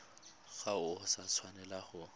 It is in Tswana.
ga o a tshwanela wa